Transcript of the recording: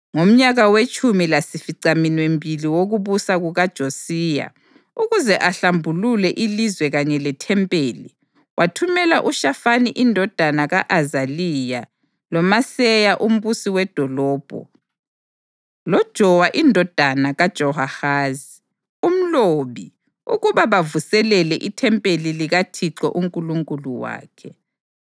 Ngomnyaka wetshumi lasificaminwembili wokubusa kukaJosiya, ukuze ahlambulule ilizwe kanye lethempeli, wathumela uShafani indodana ka-Azaliya loMaseya umbusi wedolobho, loJowa indodana kaJowahazi, umlobi, ukuba bavuselele ithempeli likaThixo uNkulunkulu wakhe.